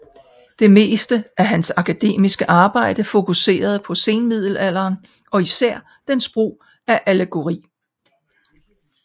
Det meste af hans akademiske arbejde fokuserede på senmiddelalderen og især dens brug af allegori